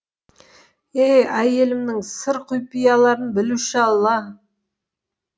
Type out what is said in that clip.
ей әйелімнің сыр құпияларын білуші алла